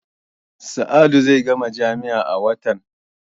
Sa'adu zai gama jami'a a watan.